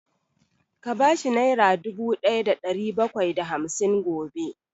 Ka bashi nera dubu ɗaya da ɗari bakwai da hamsin gobe!